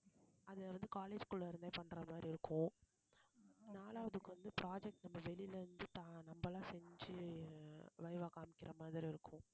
அதை வந்து college குள்ள இருந்தே பண்ற மாதிரி இருக்கும் நாலாவதுக்கு வந்து project நம்ம வெளியில இருந்து ஆஹ் நம்மளா செஞ்சு VIVA காமிக்கிற மாதிரி இருக்கும்